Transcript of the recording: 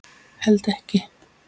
Held ekki.